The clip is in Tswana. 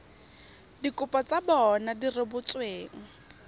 dikopo tsa bona di rebotsweng